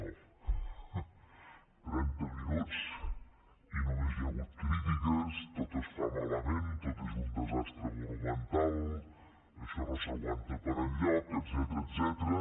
trenta minuts i només hi ha hagut crítiques tot es fa malament tot és un desastre monumental això no s’aguanta per enlloc etcètera